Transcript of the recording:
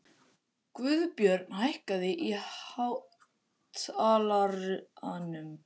Guðbjörn, hækkaðu í hátalaranum.